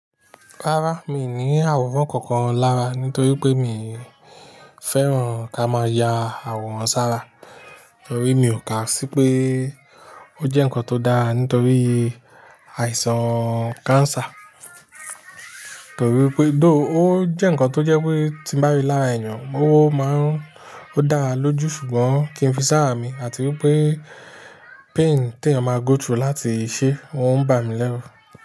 Rárá, mi ò ní àwòrán kankan lára nítorí pé mi fẹ́ràn kí a máa ya àwòrán sára. Torí mi ò kà sí pé ó jẹ́ nǹkan tó dára nítorí àìsàn cancer. Torí pé though ó jẹ́ ǹkan tó jẹ́ pé tí ń bá rí lára èèyàn, ó máa ń dára lójú ṣùgbọ́n kì í fi sára mi àti wípé pain tí èèyàn máa go through láti ṣe, ó ń bà mí lẹ́rù.